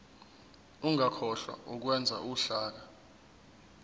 ungakhohlwa ukwenza uhlaka